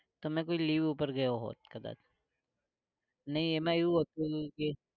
તમે કોઈ leave ઉપર ગયા હોવ કદાચ. નઈ એમાં એવું હતું કે